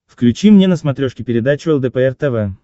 включи мне на смотрешке передачу лдпр тв